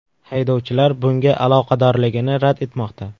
Haydovchilar bunga aloqadorligini rad etmoqda.